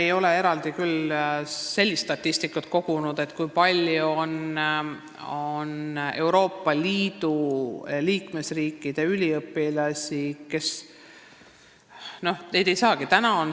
Me ei ole eraldi kogunud sellist statistikat, kui palju on selliseid Euroopa Liidu liikmesriikide üliõpilasi.